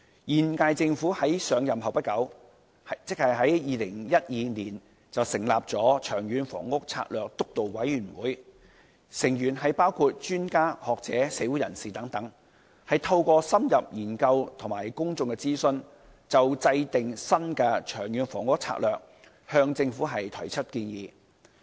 現屆政府在上任不久，即在2012年成立了長遠房屋策略督導委員會，成員包括專家學者、社會人士等，透過深入研究及公眾諮詢，就制訂新的《長遠房屋策略》向政府提出建議。